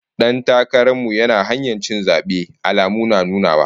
Dan takaran mu yana kan hanyar cin zabe, alamu na nunawa